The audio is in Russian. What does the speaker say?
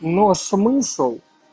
но смысл